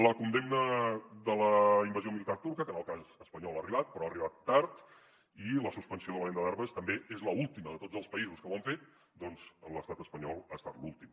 la condemna de la invasió militar turca que en el cas espanyol ha arribat però ha arribat tard i la suspensió de la venda d’armes també és l’última de tots els països que ho han fet doncs l’estat espanyol ha estat l’últim